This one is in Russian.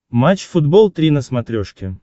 матч футбол три на смотрешке